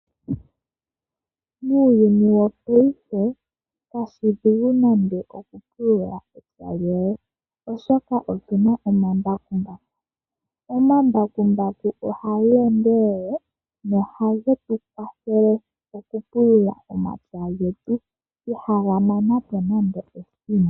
Muuyuni wongashingeyi kashishi oshidhigu nande okupulula epya lyoye oshoka otuna omambakumbaku. Omambakumbaku ohage endelele, nohage tukwathele okupulula omapya getu. Ihaga mana po nande ethimbo.